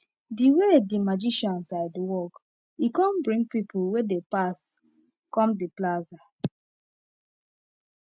the way the magician side walk e come bring people wey dey pass come the plaza